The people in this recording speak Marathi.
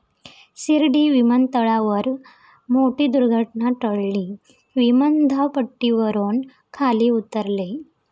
शिर्डी विमानतळावर मोठी दुर्घटना टळली, विमान धावपट्टीवरून खाली उतरले